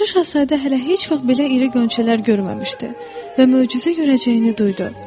Balaca Şahzadə hələ heç vaxt belə iri qönçələr görməmişdi və möcüzə görəcəyini duydu.